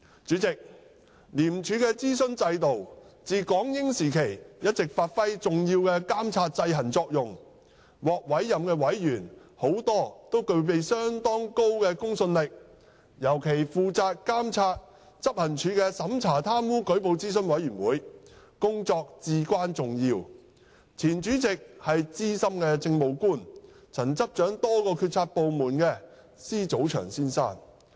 主席，廉署的諮詢制度自港英時期一直發揮重要的監察制衡作用，獲委任的委員大都具備相當高的公信力，尤其負責監察執行處的審查貪污舉報諮詢委員會，其工作至關重要，前主席為資深政務官、曾執掌多個決策部門的施祖祥先生。